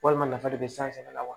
Walima nafa de be san sɛnɛ la wa